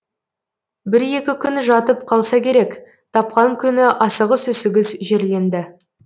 бір екі күн жатып қалса керек тапқан күні асығыс үсігіс жерленді